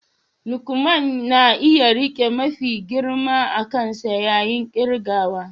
Lukman na iya rike mafi girma a kansa yayin kirgawa